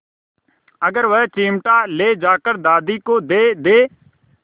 अगर वह चिमटा ले जाकर दादी को दे दे